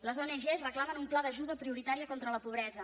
les ong reclamen un pla d’ajuda prioritària contra la pobresa